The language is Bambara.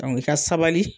i ka sabali